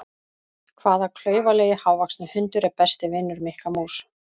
Hvaða klaufalegi hávaxni hundur er besti vinur Mikka mús?